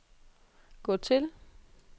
gå til